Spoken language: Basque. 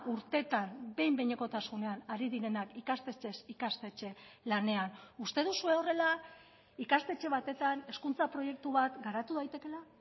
urtetan behin behinekotasunean ari direnak ikastetxez ikastetxe lanean uste duzue horrela ikastetxe batetan hezkuntza proiektu bat garatu daitekeela